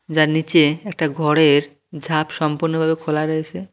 যার নীচে একটা ঘরের ঝাপ সম্পূর্ণ ভাবে খোলা রয়েসে।